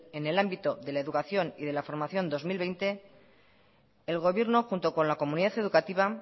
en el ámbito de la educación y la formación dos mil veinte el gobierno junto con la comunidad educativa